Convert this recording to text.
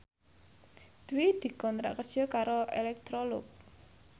Dwi dikontrak kerja karo Electrolux